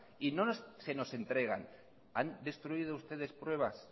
y no se nos entregan han destruido ustedes pruebas